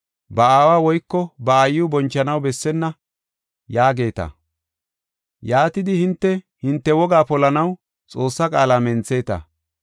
ba aawa woyko ba aayiw bonchanaw bessenna’ yaageeta. Yaatidi hinte, hinte wogaa polanaw Xoossaa qaala mentheta.